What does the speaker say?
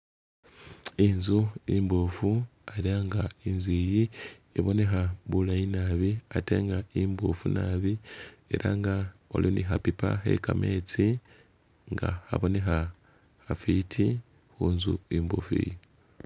inzu imboofu, era nga inzu iyi iboneha bulayi nabi, ate nga imboofu nabi, era nga waliwo ni hapipa he kametsi nga haboneha hafiti hunzu imboofu iyi